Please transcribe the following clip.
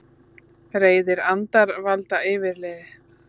Reiðir andar valda yfirliði